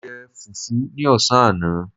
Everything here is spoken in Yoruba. Mo jẹ fùfú ní ọ̀sán àná